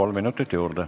Kolm minutit juurde.